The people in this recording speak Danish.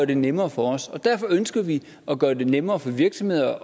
det nemmere for os og derfor ønsker vi at gøre det nemmere for virksomheder